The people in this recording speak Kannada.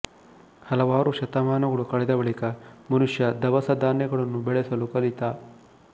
ಹಲವಾರು ಶತಮಾನಗಳು ಕಳೆದ ಬಳಿಕ ಮನುಷ್ಯ ದವಸಧಾನ್ಯಗಳನ್ನು ಬೆಳೆಸಲು ಕಲಿತ